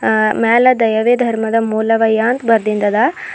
ಅ ಮ್ಯಾಲೆ ದಯವೇ ಧರ್ಮದ ಮೂಲವಯ್ಯ ಅಂತ್ ಬರ್ದಿನ್ದ ಅದ.